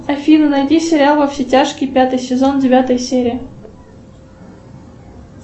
афина найди сериал во все тяжкие пятый сезон девятая серия